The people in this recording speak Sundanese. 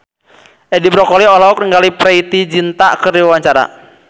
Edi Brokoli olohok ningali Preity Zinta keur diwawancara